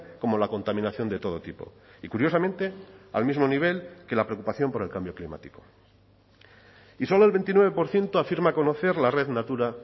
como la contaminación de todo tipo y curiosamente al mismo nivel que la preocupación por el cambio climático y solo el veintinueve por ciento afirma conocer la red natura